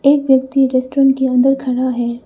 एक व्यक्ति रेस्टोरेंट के अंदर खड़ा है।